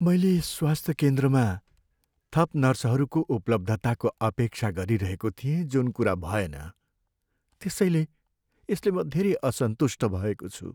मैले स्वास्थ्य केन्द्रमा थप नर्सहरूको उपलब्धताको अपेक्षा गरिरहेको थिएँ जुन कुरा भएन, त्यसैले यसले म धेरै असन्तुष्ट भएको छु।